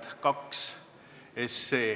muudatusettepanek välja.